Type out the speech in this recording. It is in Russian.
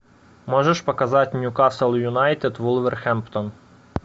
можешь показать ньюкасл юнайтед вулверхэмптон